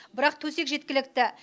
бірақ төсек жеткілікті